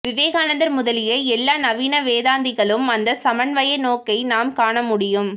விவேகானந்தர் முதலிய எல்லா நவீன வேதாந்திகளிலும் அந்த சமன்வய நோக்கை நாம் காணமுடியும்